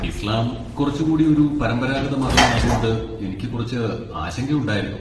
ഇസ്ലാം കുറച്ചുകൂടി ഒരു പരമ്പരാഗത മതം ആയതുകൊണ്ട് എനിക്ക് കുറച്ച് ആശങ്കയുണ്ടായിരുന്നു.